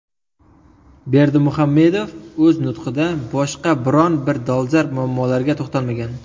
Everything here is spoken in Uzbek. Berdimuhammedov o‘z nutqida boshqa biron bir dolzarb muammolarga to‘xtalmagan.